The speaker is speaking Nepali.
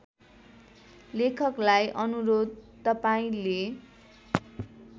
लेखकलाई अनुरोध तपाईँले